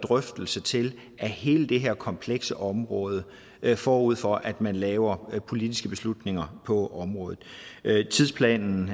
drøftelse til af hele det her komplekse område forud for at man laver politiske beslutninger på området tidsplanen